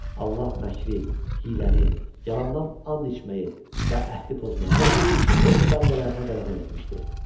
Allah məkri, hiyləni, yalandan and içməyi və əhdi pozmağı öz bəndələrinə qadağan etmişdi.